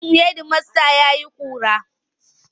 Ofishin hedimasta ya ƙura.